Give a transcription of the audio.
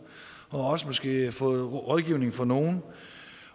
og også måske har fået rådgivning fra nogen